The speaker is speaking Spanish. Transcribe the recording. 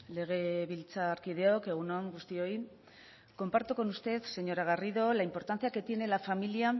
legebiltzarkideok egun on guztioi comparto con usted señora garrido la importancia que tiene la familia